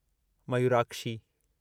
Mayurakshi